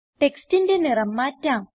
ടെക്സ്റ്റിന്റെ നിറം മാറ്റാം